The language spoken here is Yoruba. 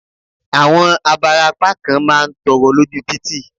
Àwọn abarapá kan má ń tọrọ lóju títì.